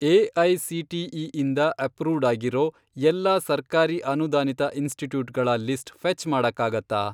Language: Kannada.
ಎ.ಐ.ಸಿ.ಟಿ.ಇ. ಇಂದ ಅಪ್ರೂವ್ಡ್ ಆಗಿರೋ ಎಲ್ಲಾ ಸರ್ಕಾರಿ ಅನುದಾನಿತ ಇನ್ಸ್ಟಿಟ್ಯೂಟ್ಗಳ ಲಿಸ್ಟ್ ಫೆ಼ಚ್ ಮಾಡಕ್ಕಾಗತ್ತಾ?